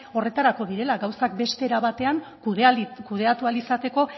horretarako direla gauzak beste era bateak kudeatu ahal izateko